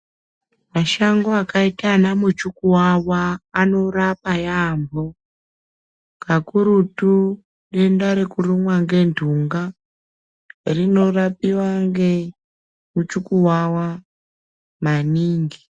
Mashango akaita ana muchukuwawa anorapa yaamho, kakurutu denda rekurumwa ngentunga rinorapiwa ngemuchukuwawa maningi.